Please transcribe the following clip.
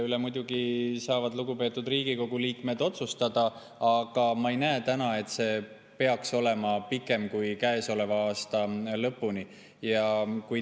Seda muidugi saavad lugupeetud Riigikogu liikmed otsustada, aga ma ei näe täna, et see peaks kestma pikemalt kui käesoleva aasta lõpuni.